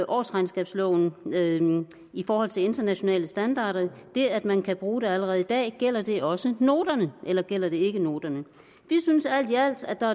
årsregnskabsloven i forhold til internationale standarder det at man kan bruge det allerede i dag gælder det også noterne eller gælder det ikke noterne vi synes alt i alt at der